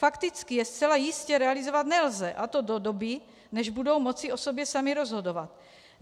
Fakticky je zcela jistě realizovat nelze, a to do doby, než budou moci o sobě sami rozhodovat.